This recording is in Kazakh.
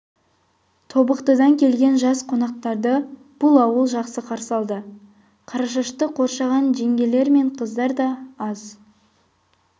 тобықтыдан келген жас қонақтарды бұл ауыл жақсы қарсы алды қарашашты қоршаған жеңгелер мен қыздар да аз